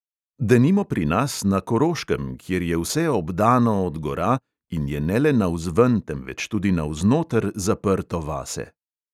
Denimo pri nas, na koroškem, kjer je vse obdano od gora, in je ne le navzven, temveč tudi navznoter zaprto vase.